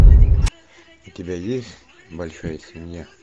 у тебя есть большая семья